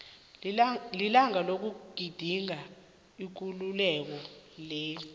lilanga lokugidinga ikululeko leli